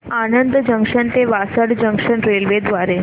Anand junction ते Vasad junction railway द्वारे